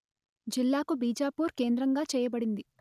జిల్లకు బీజపూర్ కేంద్రంగా చేయబడింది